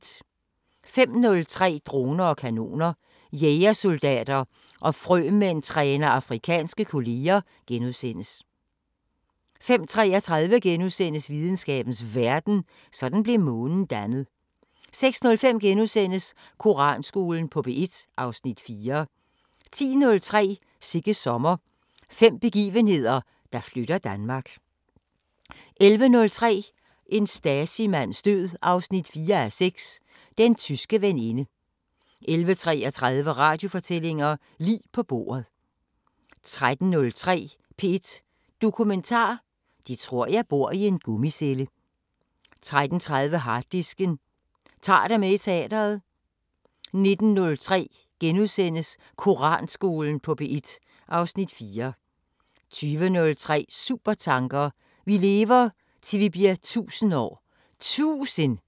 05:03: Droner og kanoner: Jægersoldater og frømænd træner afrikanske kolleger * 05:33: Videnskabens Verden: Sådan blev Månen dannet * 06:05: Koranskolen på P1 (Afs. 4)* 10:03: Sigges sommer – fem begivenheder, der flytter Danmark 11:03: En Stasi-mands død 4:6: Den tyske veninde 11:33: Radiofortællinger: Lig på bordet 13:03: P1 Dokumentar: 'De tror jeg bor i en gummicelle' 13:30: Harddisken: Ta'r dig med i teatret 19:03: Koranskolen på P1 (Afs. 4)* 20:03: Supertanker: Vi lever, til vi bliver 1000 år! Tusind!!